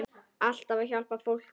Alltaf að hjálpa fólki.